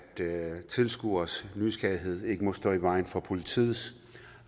tilskueres nysgerrighed ikke må stå i vejen for politiets